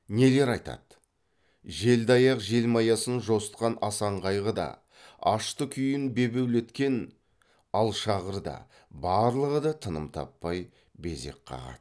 нелер айтады желді аяқ желмаясын жосытқан асанқайғы да ашты күйін бебеулеткен алшағыр да барлығы да тыным таппай безек қағады